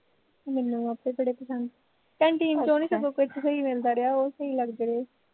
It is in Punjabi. ਮੈਨੂੰ ਆਪਤੇ ਬੜੇ ਪਸੰਦ canteen ਚੋਂ ਨੀ ਸਗੋਂ ਕੁਛ ਸਹੀ ਮਿਲਦਾ ਰਿਹਾ ਉਹ ਸਹੀ ਲੱਗਦੇ ਰਹੇ